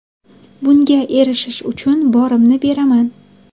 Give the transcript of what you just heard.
Bunga erishish uchun borimni beraman.